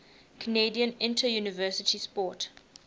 canadian interuniversity sport